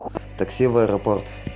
такси в аэропорт